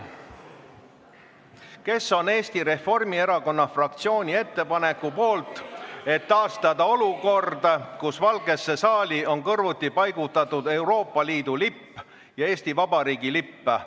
Kes on Eesti Reformierakonna fraktsiooni ettepaneku poolt, et taastada olukord, kus Valgesse saali on kõrvuti paigutatud Euroopa Liidu lipp ja Eesti Vabariigi lipp?